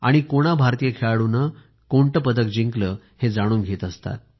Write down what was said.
कोणा भारतीय खेळाडूने पदक जिंकले हे जाणून घेत असतात